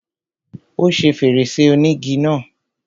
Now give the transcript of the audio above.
Ó ṣe fèrèsé ònígi náà.